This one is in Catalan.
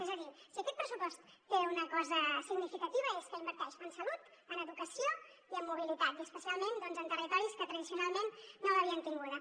és a dir si aquest pressupost té una cosa significativa és que inverteix en salut en educació i en mobilitat i especialment doncs en territoris que tradicionalment no l’havien tinguda